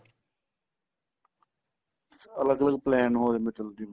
ਅਲੱਗ ਅਲੱਗ plain ਹੋ ਜਾਂਦੇ ਚਲੋ ਚਲੋ ਜਿਵੇਂ